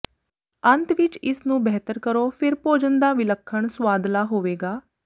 ਅੰਤ ਵਿੱਚ ਇਸ ਨੂੰ ਬਿਹਤਰ ਕਰੋ ਫੇਰ ਭੋਜਨ ਦਾ ਵਿਲੱਖਣ ਸੁਆਦਲਾ ਹੋਵੇਗਾ